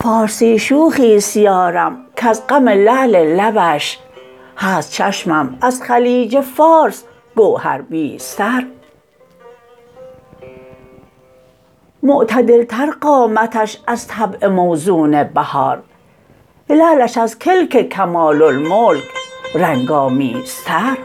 فارسی شوخی است یارم کز غم لعل لبش هست چشمم از خلیج فارس گوهربیزتر معتدل تر قامتش از طبع موزون بهار لعلش از کلک کمال الملک رنگ آمیزتر